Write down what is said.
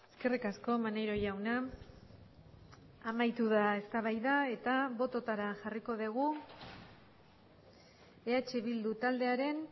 eskerrik asko maneiro jauna amaitu da eztabaida eta bototara jarriko dugu eh bildu taldearen